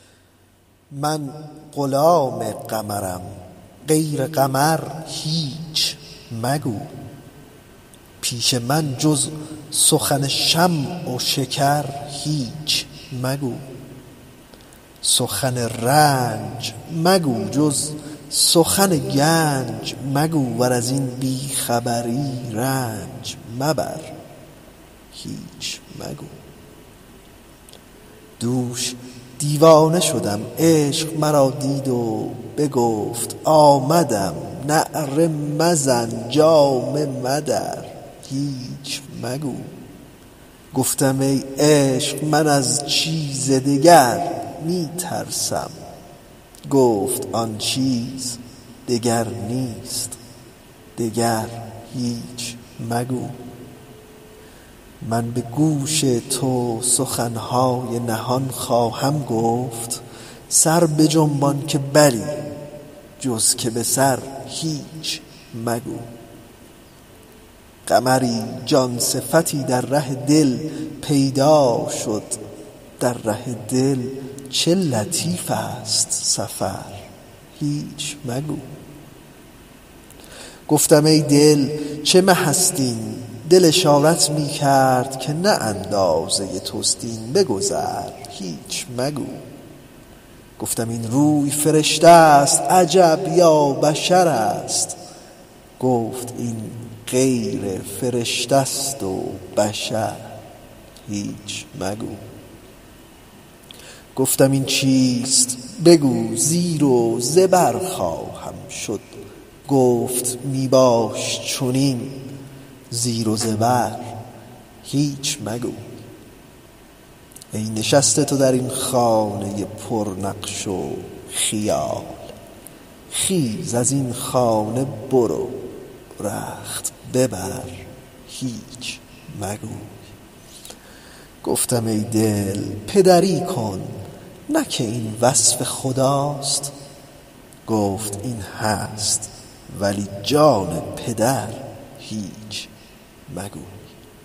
من غلام قمرم غیر قمر هیچ مگو پیش من جز سخن شمع و شکر هیچ مگو سخن رنج مگو جز سخن گنج مگو ور از این بی خبری رنج مبر هیچ مگو دوش دیوانه شدم عشق مرا دید و بگفت آمدم نعره مزن جامه مدر هیچ مگو گفتم ای عشق من از چیز دگر می ترسم گفت آن چیز دگر نیست دگر هیچ مگو من به گوش تو سخن های نهان خواهم گفت سر بجنبان که بلی جز که به سر هیچ مگو قمری جان صفتی در ره دل پیدا شد در ره دل چه لطیف ست سفر هیچ مگو گفتم ای دل چه مه ست این دل اشارت می کرد که نه اندازه توست این بگذر هیچ مگو گفتم این روی فرشته ست عجب یا بشرست گفت این غیر فرشته ست و بشر هیچ مگو گفتم این چیست بگو زیر و زبر خواهم شد گفت می باش چنین زیر و زبر هیچ مگو ای نشسته تو در این خانه پرنقش و خیال خیز از این خانه برو رخت ببر هیچ مگو گفتم ای دل پدری کن نه که این وصف خداست گفت این هست ولی جان پدر هیچ مگو